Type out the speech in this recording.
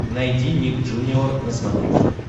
найди ник джуниор на смотрешке